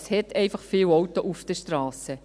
Es hat einfach viele Autos auf den Strassen.